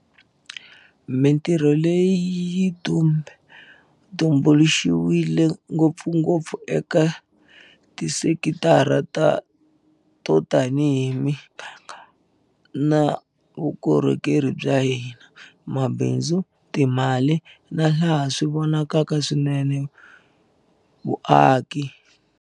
Mitirho leyi yi tumbu luxiwile ngopfungopfu eka tisekitara to tanihi miganga na vukorhokeri bya vanhu, mabindzu, timali na, laha swi vonakaka swinene, vuaki.